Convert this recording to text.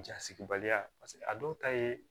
Ja sigi baliya paseke a dɔw ta ye